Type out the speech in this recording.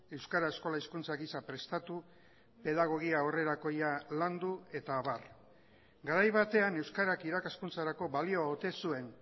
euskara eskola hizkuntza gisa prestatu pedagogia aurrerakoia landu eta abar garai batean euskarak irakaskuntzarako balio ote zuen